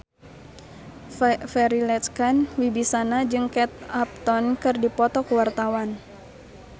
Farri Icksan Wibisana jeung Kate Upton keur dipoto ku wartawan